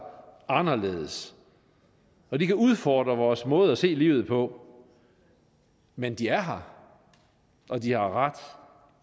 anderledes og de kan udfordre vores måde at se livet på men de er her og de har ret